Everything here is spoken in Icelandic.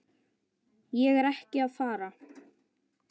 Ég er ekki að fara.